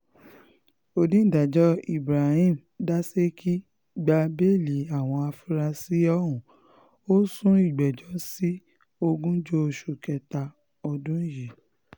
onídàájọ́ ibrahim dasékì gba bẹ́ẹ́lí àwọn afurasí ọ̀hún ó sún ìgbẹ́jọ́ sí ogúnjọ́ oṣù kẹta ọdún yìí